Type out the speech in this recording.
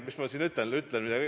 –, mis ma siin ikka muud ütlen.